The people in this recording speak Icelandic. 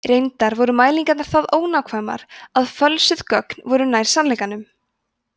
reyndar voru mælingarnar það ónákvæmar að fölsuðu gögnin voru nær sannleikanum